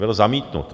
Byl zamítnut.